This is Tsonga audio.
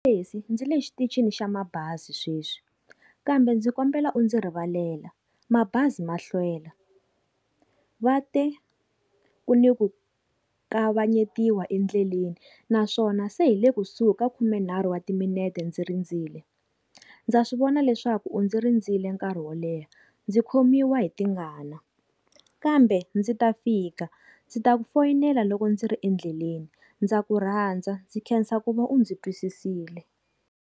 Ndzi le xitichini xa mabazi sweswi, kambe ndzi kombela u ndzi rivalela mabazi ma hlwela va te ku ni ku kavanyetiwa endleleni, naswona se hi le kusuhi ka khumenharhu wa timinete ndzi rindzile, ndza swivona leswaku u ndzi rindzile nkarhi wo leha, ndzi khomiwa hi tingana kambe ndzi ta fika ndzi ta ku foyinela loko ndzi ri endleleni ndza ku rhandza ndzi khensa ku va u ndzi twisisile.